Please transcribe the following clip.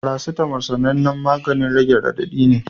Paracetamol sanannen maganin rage radadi ne